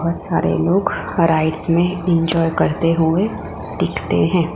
और सारे लोग में एंजॉय करते हुए दिखते हैं।